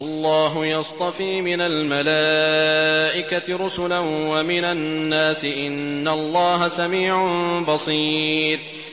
اللَّهُ يَصْطَفِي مِنَ الْمَلَائِكَةِ رُسُلًا وَمِنَ النَّاسِ ۚ إِنَّ اللَّهَ سَمِيعٌ بَصِيرٌ